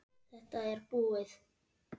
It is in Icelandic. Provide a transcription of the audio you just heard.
Þetta er búið